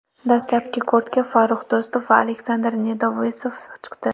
Dastlabki kortga Farrux Do‘stov va Aleksandr Nedovesov chiqdi.